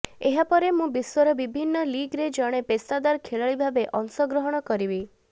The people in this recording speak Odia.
ଏହା ପରେ ମୁଁ ବିଶ୍ବର ବିଭିନ୍ନ ଲିଗ୍ରେ ଜଣେ ପେସାଦାର ଖେଳାଳି ଭାବେ ଅଂଶ ଗ୍ରହଣ କରିବି